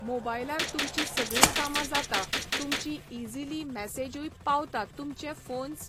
मोबायलार तुमची सगळीं कामां जाता, तुमची इजिली मॅसेजूय पावता तुमचे फोन्स